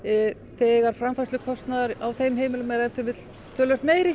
þegar framfærslukostnaður á þeim heimilum er ef til vill töluvert meiri